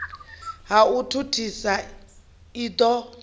ha u thuthisa u ḓi